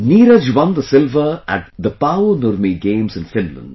Neeraj won the silver at Paavo Nurmi Games in Finland